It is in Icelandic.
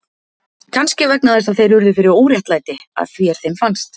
Kannski vegna þess að þeir urðu fyrir óréttlæti, að því er þeim fannst.